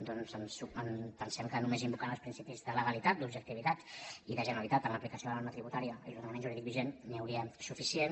doncs pensem que només invocant els principis de legalitat d’objectivitat i de generalitat en l’aplicació de la norma tributària i l’ordenament jurídic vigent n’hi hauria suficient